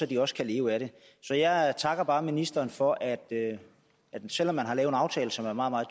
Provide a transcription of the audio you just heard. de også kan leve af det så jeg takker bare ministeren for at selv om man har lavet en aftale som er meget meget